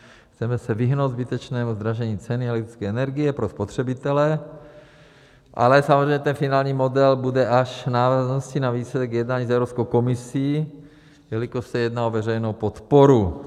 Chceme se vyhnout zbytečnému zdražení ceny elektrické energie pro spotřebitele, ale samozřejmě ten finální model bude až v návaznosti na výsledek jednání s Evropskou komisí, jelikož se jedná o veřejnou podporu.